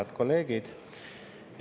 Head kolleegid!